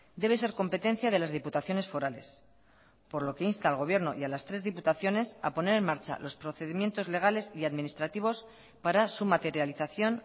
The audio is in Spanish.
debe ser competencia de las diputaciones forales por lo que insta al gobierno y a las tres diputaciones a poner en marcha los procedimientos legales y administrativos para su materialización